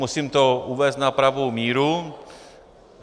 Musím to uvést na pravou míru.